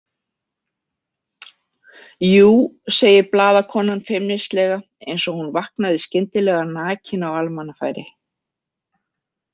Jú, segir blaðakonan feimnislega, eins og hún vaknaði skyndilega nakin á almannafæri.